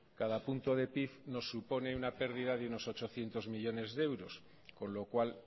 cada punto de pib nos supone una pérdida de unos ochocientos millónes de euros con lo cual